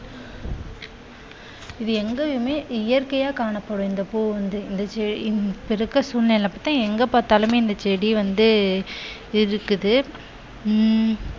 இது எங்கேயுமே இயற்கையா காணப்படும் இந்த பூ வந்து இந்த செ~இப்போ இருக்கிற சூழ்நிலையை பார்த்தால் எங்கே பார்த்தாலுமே இந்த செடி வந்து இருக்குது உம்